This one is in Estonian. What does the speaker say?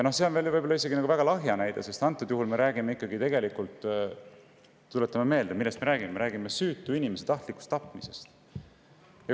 See on võib-olla isegi liiga lahja näide, sest antud juhul me räägime ikkagi – tuletame meelde, millest me räägime – süütu inimese tahtlikust tapmisest.